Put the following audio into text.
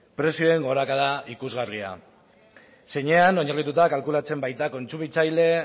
prezioen gorakada ikusgarria zeinean oinarrituta kalkulatzen baita kontsumitzaile